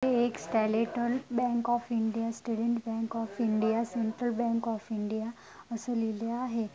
हे एक bank of India bank of India central bank of India अस लिहिले आहे.